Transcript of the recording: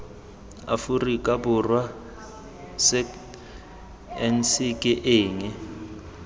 aforika borwa sagnc ke eng